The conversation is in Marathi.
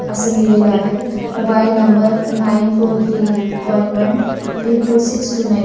असं लिहिलेल आहे. Mobile number nine four three one one three two six two nine --